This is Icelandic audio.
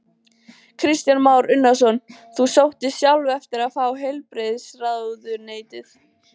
Kristján Már Unnarsson: Þú sóttist sjálf eftir að fá heilbrigðisráðuneytið?